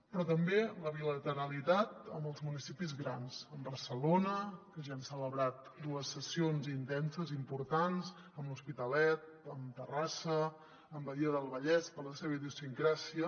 però també la bilateralitat amb els municipis grans amb barcelona que ja hi hem celebrat dues sessions intenses i importants amb l’hospitalet amb terrassa amb badia del vallès per la seva idiosincràsia